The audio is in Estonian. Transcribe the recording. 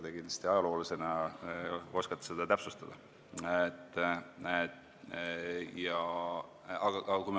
Teie ajaloolasena oskate seda kindlasti täpsustada.